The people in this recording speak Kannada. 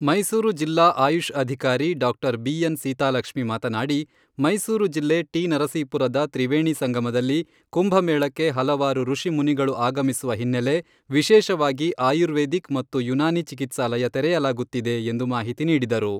ಮೈಸೂರು ಜಿಲ್ಲಾ ಆಯುಷ್ ಅಧಿಕಾರಿ ಡಾಕ್ಟರ್ ಬಿ.ಎನ್. ಸೀತಾಲಕ್ಷ್ಮಿ ಮಾತನಾಡಿ "ಮೈಸೂರು ಜಿಲ್ಲೆ ಟಿ. ನರಸೀಪುರದ ತ್ರಿವೇಣಿ ಸಂಗಮದಲ್ಲಿ ಕುಂಭಮೇಳಕ್ಕೆ ಹಲವಾರು ಋಷಿ ಮುನಿಗಳು ಆಗಮಿಸುವ ಹಿನ್ನೆಲೆ ವಿಶೇಷವಾಗಿ ಆಯುರ್ವೇದಿಕ್ ಮತ್ತು ಯುನಾನಿ ಚಿಕಿತ್ಸಾಲಯ ತೆರೆಯಲಾಗುತ್ತಿದೆ" ಎಂದು ಮಾಹಿತಿ ನೀಡಿದರು.